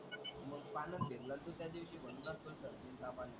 मग पाण्यात भिजला ना तू त्या दिवशी म्हणूनच तुला सर्दी आणि ताप आला.